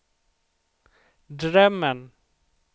drömmen